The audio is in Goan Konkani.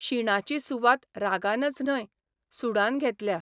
शिणाची सुवात रागानच न्हय, सुडान घेतल्या.